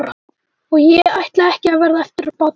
Og ekki ætlaði ég að verða eftirbátur þeirra.